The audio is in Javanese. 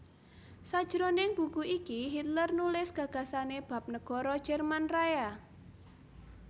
Sajroning buku iki Hitler nulis gagasané bab negara Jerman Raya